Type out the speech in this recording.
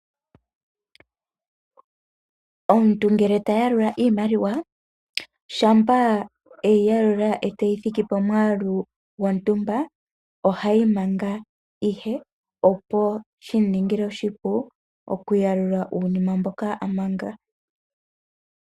Omuntu ngele ta yalula iimaliwa, shampa eyi yalula e tayi thiki pomwaalu gwontumba, oheyi manga ihe, opo shimu ningile oshipu, okuyalula uunima mboka a manga.